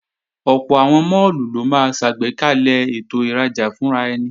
Ọ̀pọ̀ àwọn máàlù ló máa ṣàgbékalẹ̀ ètò ìrajà fúnraẹni